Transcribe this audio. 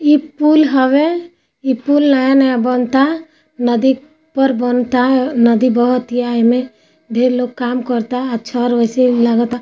यह पूल है यह पूल नया बना है नदी पर बना है नदी बहुत इनमे बहुत लोग काम करते हैं अच्छा और वैसे लगता---